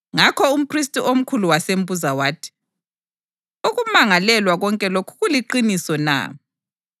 Ngakho umphristi omkhulu wasembuza wathi, “Ukumangalelwa konke lokhu kuliqiniso na?”